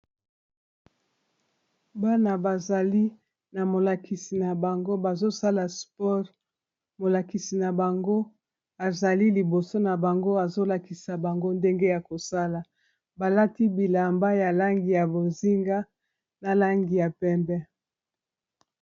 Bana bazali na molakisi na bango bazosala sport, molakisi na bango azali liboso na bango azolakisa bango ndenge ya kosala balati bilamba ya langi ya bozinga na langi ya pembe.